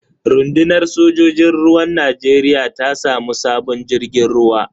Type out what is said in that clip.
Runɗunar sojojin ruwan Najeriya ta samu sabon jirgin ruwa.